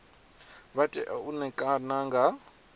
vha tea u ṋekana nga